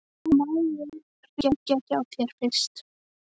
En má ég hringja hjá þér fyrst?